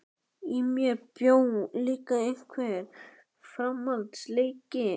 Í mér bjó líka einhver framandleiki.